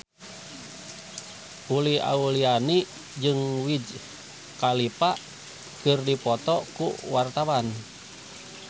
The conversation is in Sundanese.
Uli Auliani jeung Wiz Khalifa keur dipoto ku wartawan